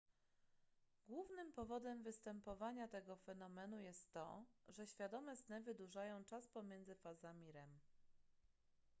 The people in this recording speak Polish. głównym powodem występowania tego fenomenu jest to że świadome sny wydłużają czas pomiędzy fazami rem